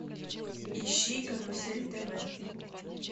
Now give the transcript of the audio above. ищи карусель тв